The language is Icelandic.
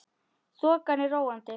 Þokan er róandi